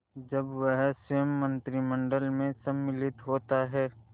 जब वह स्वयं मंत्रिमंडल में सम्मिलित होता है